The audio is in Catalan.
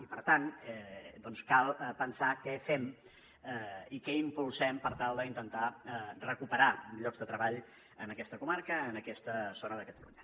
i per tant doncs cal pensar què fem i què impulsem per tal d’intentar recuperar llocs de treball en aquesta comarca en aquesta zona de catalunya